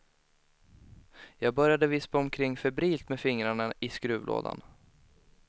Jag började vispa omkring febrilt med fingrarna i skruvlådan.